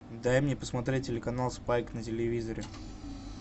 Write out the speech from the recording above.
дай мне посмотреть телеканал спайк на телевизоре